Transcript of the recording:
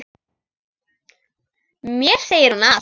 Mér segir hún allt: